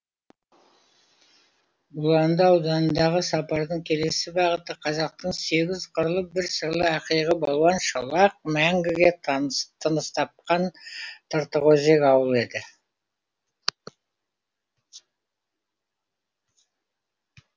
бұланды ауданындағы сапардың келесі бағыты қазақтың сегіз қырлы бір сырлы ақиығы балуан шолақ мәңгіге тыныс тапқан тыртықөзек ауылы еді